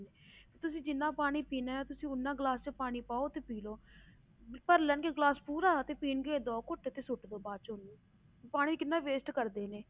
ਵੀ ਤੁਸੀਂ ਜਿੰਨਾ ਪਾਣੀ ਪੀਣਾ ਹੈ ਤੁਸੀਂ ਉੱਨਾ ਗਲਾਸ 'ਚ ਪਾਣੀ ਪਾਓ ਤੇ ਪੀ ਲਓ ਭਰ ਲੈਣਗੇ ਗਲਾਸ ਪੂਰਾ ਤੇ ਪੀਣਗੇ ਦੋ ਘੁੱਟ ਤੇ ਸੁੱਟ ਦਓ ਬਾਅਦ ਚੋਂ ਉਹਨੂੰ ਵੀ ਪਾਣੀ ਕਿੰਨਾ waste ਕਰਦੇ ਨੇ।